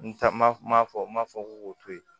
N ta ma fɔ n ma fɔ k'u k'o to yen